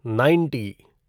ninety